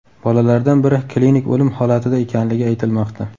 Bolalardan biri klinik o‘lim holatida ekanligi aytilmoqda.